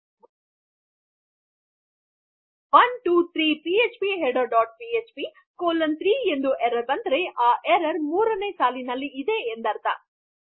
೧೨೩ ಇತರ ಯಾಕೆಂದರೆ ಇದು ನಿಮಗೆ ಪಿಎಚ್ಪಿಹೆಡ್ಡರ್ ಡಾಟ್ ಪಿಎಚ್ಪಿ ಕಾಲನ್ ೩ ಎಂದು ಎರ್ರರ್ ಕೊಟ್ಟಾಗ ಎರ್ರರ್ ೩ನೇ ಲೈನ್ ನಲ್ಲಿ ಆಗಿದೆ ಎಂದು ಗೊತ್ತಾಗುತ್ತದೆ